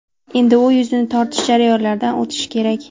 Endi u yuzni tortish jarayonlaridan o‘tishi kerak.